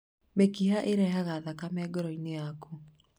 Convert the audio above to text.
Mĩkiha ĩrehaga thakame ngoro-inĩ yakũ